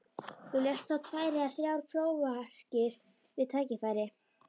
Þú lest þá tvær eða þrjár prófarkir við tækifæri.